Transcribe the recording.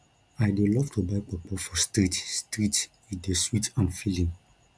i dey love to buy puffpuff for street street e dey sweet and filling